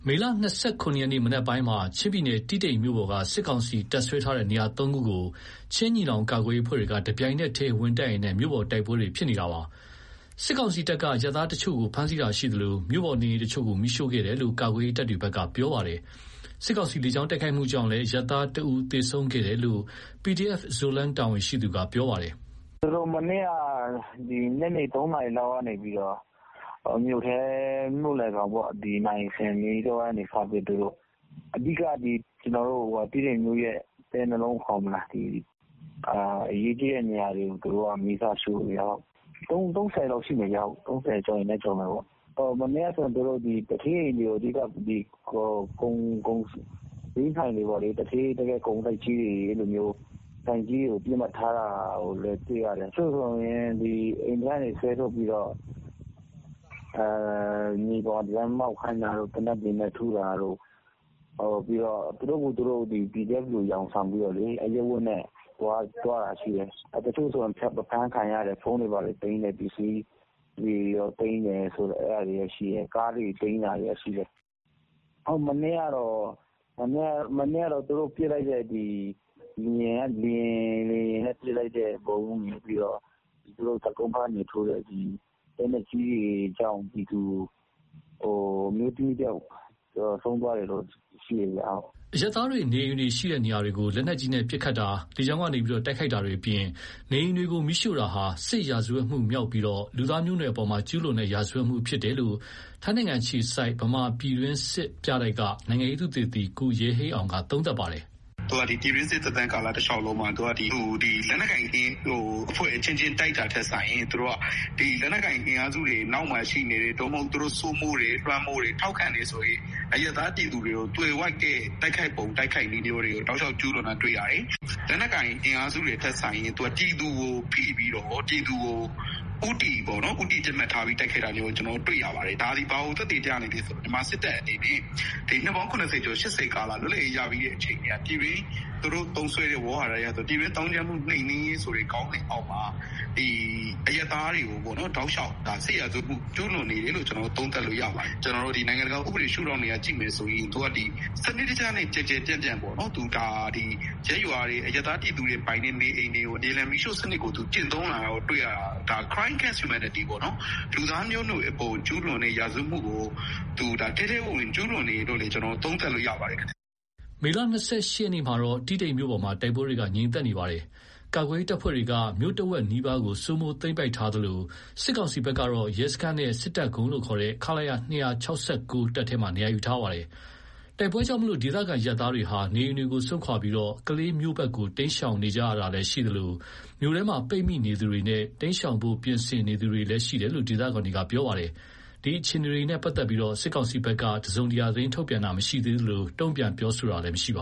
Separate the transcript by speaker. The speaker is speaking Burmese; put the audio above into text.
Speaker 1: မေလ ၂၇ ရက်က မနက်ပိုင်းမှာ ချင်းပြည်နယ် တီးတိန်မြို့ပေါ်က စစ်ကောင်စီတပ်စွဲထားတဲ့နေရာ ၃ ခုကို ချင်းညီနောင်ကာကွယ်ရေးအဖွဲ့တွေက တပြိုင်နက်တည်းဝင်တိုက်ရင်း မြို့ပေါ်တိုက်ပွဲတွေ ဖြစ်နေတာပါ။ စစ်ကောင်စီတပ်ကအရပ်သားတချို့ဖမ်းဆီးတာရှိသလို မြို့ပေါ်နေအိမ်တချို့ကို မီးရှို့ခဲ့တယ်လို့ ကာကွယ်ရေးတပ်တွေက ပြောပါတယ်။ စစ်ကောင်စီလေကြောင်းတိုက်ခိုက်မှုကြောင့်လည်း အရပ်သားတဦး သေဆုံးခဲ့တယ်လို့လည်း PDF Zoland တာဝန်ရှိသူက ပြောပါတယ်
Speaker 2: ။ "သူတို့မနေ့က ညနေ ၃ နာရီလောက်ကနေပြီးတော့ မြို့လယ်ခေါင်ပေါ့။ နာရီစင်အနီးတဝိုက်ကနေစပြီးတော့ အဓိက တီးတိန်မြို့ရဲ့ အသည်းနှလုံးခေါ်မလား၊ အရေးကြီးတဲ့နေရာတွေကို မီးစရှို့တယ်ခင်ဗျ။ ၃၀ လောက်ရှိမယ်။ ၃၀ ကျော်ရင်လည်း ကျော်မယ်ပေါ့။ သူတို့မနေ့ကဆို သူဌေးအိမ်တွေကိုပေါ့။ ဈေးဆိုင်တွေ၊ သူဌေးတွေရဲ့ကုန်တိုက်ကြီးတွေကို ပစ်မှတ်ထားတာတွေ့ရတယ်။ တချို့ဆို အိမ်ထဲကနေဆွဲထုတ်ပြီးတော့ မြေပေါ်မှောက်ခိုင်းတာတို့၊ သေနတ်တွေနဲ့ထုတာတို့ သူတို့ကိုယ်သူတို့ ကာကွယ်ရေးတပ်ဖွဲ့တွေ အယောင်ဆောင်ပြီး သွားတာတွေရှိတယ်။ တချို့ဆို အဖမ်းခံရတယ်။ ဖုန်းတွေဘာတွေသိမ်းပြီး ပစ္စည်းတွေသိမ်းတာရှိတယ်။ ကားတွေသိမ်းတာရှိတယ်။ မနေ့ကတော့ သူတို့လေယာဉ်က ပစ်လိုက်တာရယ်၊ တပ်ကုန်းဘက်ကပစ်လိုက်တဲ့ လက်နက်ကြီးတွေကြောင့် ပြည်သူအမျိုးသမီးတယောက် အသက်ဆုံးသွားတာတော့ ရှိတယ်ခင်ဗျ။"
Speaker 1: အရပ်သားတွေနေအိမ်တွေရှိတဲ့နေရာတွေကို လက်နက်ကြီးပစ်ခတ်တာ၊ လေကြောင်းက တိုက်ခိုက်တာတွေအပြင် နေအိမ်တွေကိုမီးရှို့တာဟာ စစ်ရာဇဝတ်မှုမြောက်ပြီး လူသားမျိုးနွယ်အပေါ်ကျူးလွန်တဲ့ရာဇဝတ်မှု ဖြစ်တယ်လို့ ထိုင်းနိုင်ငံအခြေစိုက် ဗမာ့ပြည်တွင်းစစ်ပြတိုက်က နိုင်ငံရေးသုတေသီ ကိုရဲဟိန်းအောင်က သုံးသပ်ပါတယ်။ "
Speaker 3: သူက ပြည်တွင်းစစ် သက်တမ်းကာလတလျှောက်လုံးမှာ လက်နက်ကိုင်အဖွဲ့အချင်းချင်း တိုက်တာထက်စာရင် လက်နက်ကိုင် အင်အားစုတွေအနောက်မှာရှိနေတဲ့၊ သူတို့စိုးမိုးတဲ့၊ လွှမ်းမိုးတဲ့၊ ထောက်ခံတဲ့ အရပ်သား ပြည်သူတွေကို သွယ်ဝိုက်တဲ့ တိုက်ခိုက်ပုံတိုက်ခိုက်နည်းတွေကို တောက်လျှောက် ကျူးလွန်တာတွေ့ရတယ်။ လက်နက်ကိုင်အင်အားစုတွေထက်စာရင် ပြည်သူကိုဖိပြီးတော့၊ ပြည်သူကိုဦးတည်ပစ်မှတ်ထား တိုက်ခိုက်တာ တွေ့ရတယ်။ ဒါက ဘာကိုသက်သေပြနေလဲဆိုရင် မြန်မာစစ်တပ်အနေနဲ့ နှစ်ပေါင်း ၇၀ ကျော် ၈၀ လွတ်လပ်ရေးရပြီးကတည်းက ပြည်တွင်း သူတို့သုံးစွဲတဲ့ ပြည်တွင်သောင်းကျန်းမှု နှိမ်နင်းရေး ခေါင်းစဉ်အောက်မှာ အရပ်သားတွေကို တောက်လျှောက် စစ်ရာဇဝတ်မှု ကျူးလွန်နေတယ်လို့ သုံးသပ်လို့ရပါတယ်။ နိုင်ငံတကာ ဥပဒေရှုထောင့်ကကြည့်မယ်ဆိုရင် စနစ်တကျနဲ့ ကျယ်ကျယ်ပြန့်ပြန့် ရပ်ရွာတွေ အရပ်သားပြည်သူတွေ နေအိမ်တွေကို မြေလှန်မီးရှို့စနစ်ကျင့်သုံးတာကိုတွေ့ရတာ လူသားမျိုးနွယ်အပေါ်ကျူးလွန်တဲ့ ရာဇဝတ်မှုကို သူတို့ ထဲထဲဝင်ဝင် ကျူးလွန်နေတယ်လို့ သုံးသပ်လို့ရပါတယ်။"
Speaker 1: မေ ၂၈ ရက်မှာတော့ တီးတိန်မြို့ပေါ်မှာ တိုက်ပွဲငြိမ်သက်နေပါတယ်။ ကာကွယ်ရေးတပ်ဖွဲ့တွေက မြို့တဝက်နီးပါးကို စိုးမိုးသိမ်းပိုက်ထားသလို စစ်ကောင်စီကတော့ ရဲစခန်းနဲ့ စစ်တပ်ကုန်းလို့ခေါ်တဲ့ ခလရ ၂၆၉ တပ်ထဲမှာ နေရာယူထားပါတယ်။ တိုက်ပွဲကြောင့်ဒေသခံအရပ်သားတွေဟာ နေအိမ်တွေကို စွန့်ခွါပြီး ကလေးမြို့ဘက်ကို တိမ်းရှောင်နေကြတာလည်းရှိသလို မြို့ထဲမှာ ပိတ်မိနေသူတွေနဲ့ တိမ်းရှောင်ဖို့ ပြင်ဆင်နေသူတွေလည်းရှိတယ်လို့ ဒေသခံတွေက ပြောပါတယ်။ ဒီအခြေအနေတွေနဲ့ ပတ်သက်လို့ စစ်ကောင်စီဘက်က သတင်းထုတ်ပြန်တာမရှိသေးသလို တုံ့ပြန်ပြောဆိုတာလည်းမရှိပါ